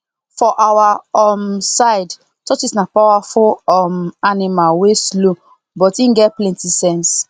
for our um side tortoise na powerful um animal wey slow but he get plenty sense